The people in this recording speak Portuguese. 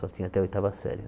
Só tinha até oitava Série.